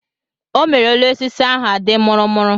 O mere elu osisi ahụ a dị mụrụ mụrụ.